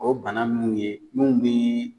O bana mun ye n'u bi